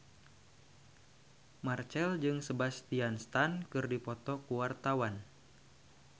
Marchell jeung Sebastian Stan keur dipoto ku wartawan